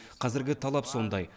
қазіргі талап сондай